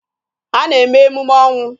Ha na-eme emume ọnwụ.